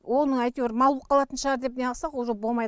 оны әйтеуір мал боп қалатын шығар деп неғысақ уже болмайды